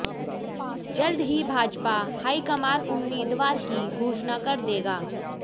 जल्द ही भाजपा हाईकमान उम्मीदवार की घोषणा कर देगा